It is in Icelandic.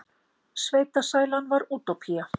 Sveitasælan var útópía.